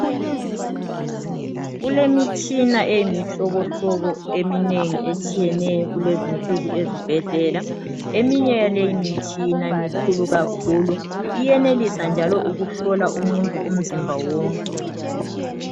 Kulemitshina eyimihlobohlobo eminengi etshiyeneyo ezibhedlela, eminye yaleyi mitshina mikhulu kakhulu iyenelisa njalo ukuhlola umuntu umzimba wonke.